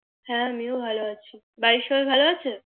হ্যাঁ আমি ও তো ভালো আছি বাড়ির সবাই ভালো আছে